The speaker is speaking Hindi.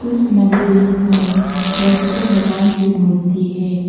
इस मंदिर में बुद्ध भगवान की मूर्ति है।